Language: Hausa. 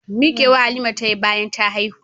Mikewa Halima tayi bayan ta haihu.